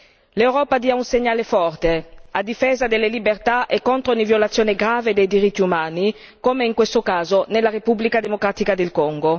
L'Europa dia un segnale forte, a difesa delle libertà e contro ogni violazione grave dei diritti umani come, in questo caso, nella Repubblica democratica del Congo!